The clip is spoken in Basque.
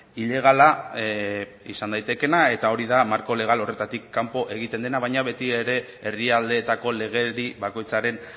ilegala izan daitekeena eta hori da marko legal horretatik kanpo egiten dena baina beti ere herrialdeetako legedi bakoitzaren